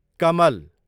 कमल